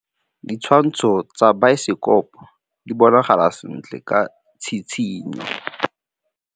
Ditshwantshô tsa biosekopo di bonagala sentle ka tshitshinyô.